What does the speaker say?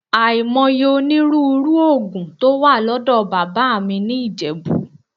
Àìmọye onírúurú òògùn tó wà lọ́dọ̀ bàbá mi ní Ìjẹ̀bú